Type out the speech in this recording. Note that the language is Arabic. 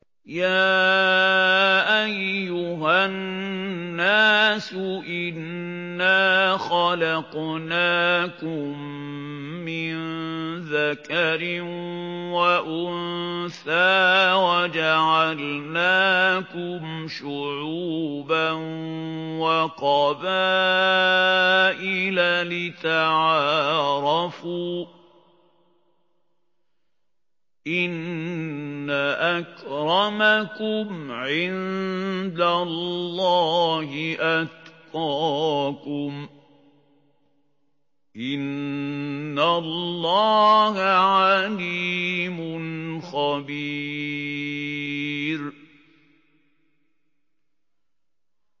يَا أَيُّهَا النَّاسُ إِنَّا خَلَقْنَاكُم مِّن ذَكَرٍ وَأُنثَىٰ وَجَعَلْنَاكُمْ شُعُوبًا وَقَبَائِلَ لِتَعَارَفُوا ۚ إِنَّ أَكْرَمَكُمْ عِندَ اللَّهِ أَتْقَاكُمْ ۚ إِنَّ اللَّهَ عَلِيمٌ خَبِيرٌ